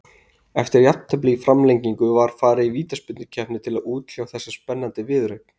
Eftir jafntefli í framlengingu var farið í vítaspyrnukeppni til að útkljá þessa spennandi viðureign.